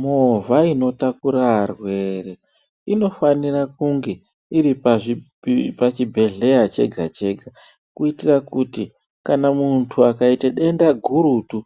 Movha inotakura varwere inofanira kunge iri pachiibhedhlera chega chega kuitira kuti kana muntu akaite denda gurutu